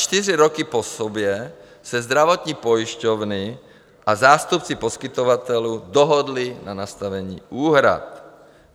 Čtyři roky po sobě se zdravotní pojišťovny a zástupci poskytovatelů dohodli na nastavení úhrad.